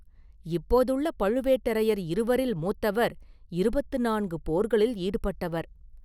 இப்போதுள்ள பழுவேட்டரையர் இருவரில் மூத்தவர் இருபத்து நான்கு போர்களில் ஈடுபட்டவர்.